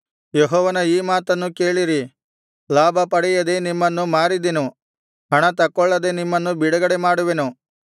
ಯೆಹೋವನ ಈ ಮಾತನ್ನು ಕೇಳಿರಿ ಲಾಭಪಡೆಯದೆ ನಿಮ್ಮನ್ನು ಮಾರಿದೆನು ಹಣತಕ್ಕೊಳ್ಳದೆ ನಿಮ್ಮನ್ನು ಬಿಡುಗಡೆಮಾಡುವೆನು